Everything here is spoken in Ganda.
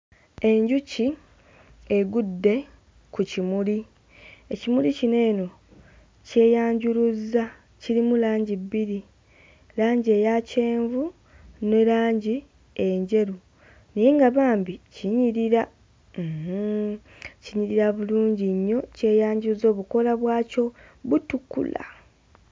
Enjuki egudde ku kimuli, ekimuli kino eno kyeyanjuluzza, kirimu langi bbiri, langi eya kyenvu ne langi enjeru. Naye nga bambi kinyirira, uuhum, kinyirira bulungi nnyo kyeyanjuluzza obukoola bwakyo butukula!